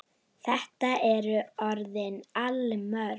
Þetta eru orðin allmörg ár.